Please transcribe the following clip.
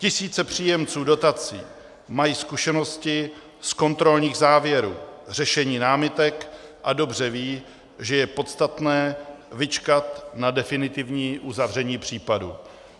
Tisíce příjemců dotací mají zkušenosti z kontrolních závěrů, řešení námitek a dobře vědí, že je podstatné vyčkat na definitivní uzavření případu.